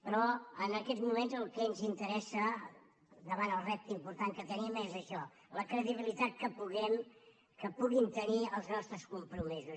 però en aquests moments el que ens interessa davant el repte important que tenim és això la credibilitat que puguin tenir els nostres compromisos